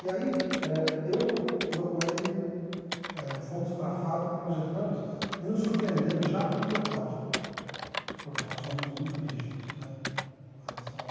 E aí eh eu com eu com ele eh fomos para a fábrica, projetamos e nos surpreendemos já com o protótipo, porque nós fomos muito rígidos né com relação a...